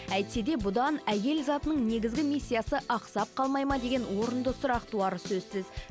әйтсе де бұдан әйел затының негізгі миссиясы ақсап қалмайды ма деген орынды сұрақ туары сөзсіз